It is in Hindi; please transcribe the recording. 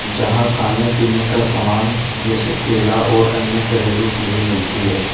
जहां खाने पीने का सामान जैसे केला और अन्य घरेलू चीजें मिलती हैं।